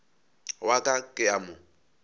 wa ka ke a mo